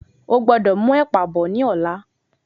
O gbọ́dọ̀ mú ẹ̀pà bọ̀ ní ọ̀la.